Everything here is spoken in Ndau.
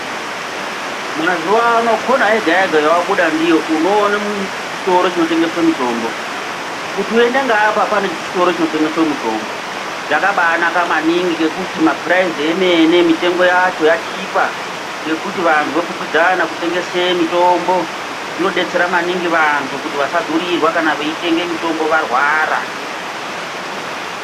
Mazuwano kona yega yega yewabuda ndiyo unoona chitoro chinotengeswa mutombo. Kuti under ngeapa pane chitoro chinotengesa mutombo. Zvakabanaka maningi ngekuti mapuraizi emene mitengo yacho yachipa ngekuti vantu vokwikwidzana kutengese mitombo. Zvimodetsera maningi vantu kana veitenge mitombo varwara.